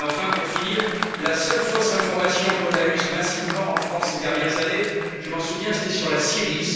Pour finir, la seule fausse information que nous avons eue massivement en France, ces dernières années, je m'en souviens, c'était sur la Syrie.